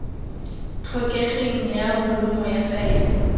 tlhokegeng ya bolumo ya faele